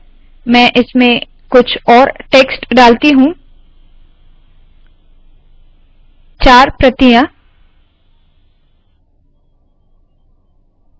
मैं इसमें कुछ और टेक्स्ट डालती हूँ चार प्रतियाँ